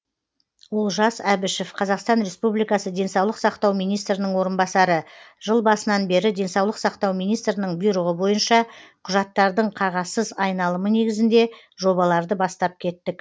олжас әбішев қазақстан республикасы денсаулық сақтау министрінің орынбасары жыл басынан бері денсаулық сақтау министрінің бұйрығы бойынша құжаттардың қағазсыз айналымы негізінде жобаларды бастап кеттік